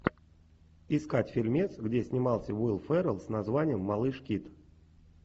искать фильмец где снимался уилл феррелл с названием малыш кид